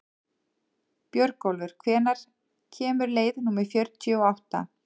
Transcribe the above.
Björgólfur, hvenær kemur leið númer fjörutíu og átta?